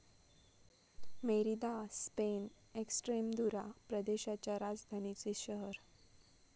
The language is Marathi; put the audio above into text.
मेरिदा, स्पेन, एक्सट्रेमदुरा प्रदेशाच्या राजधानीचे शहर